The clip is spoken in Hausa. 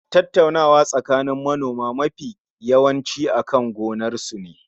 Tattaunawa tsakanin manoma mafi yawanci akan gonar sune.